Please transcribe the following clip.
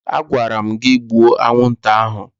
Agwara m gị gbuo anwụnta ahụ!